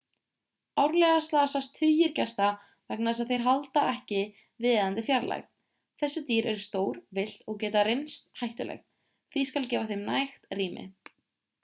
árlega slasast tugir gesta vegna þess að þeir halda ekki viðeigandi fjarlægð þessi dýr eru stór villt og geta reynst hættuleg því skal gefa þeim nægt rými